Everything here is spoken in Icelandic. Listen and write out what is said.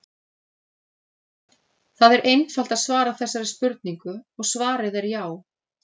Það er einfalt að svara þessari spurningu og svarið er já!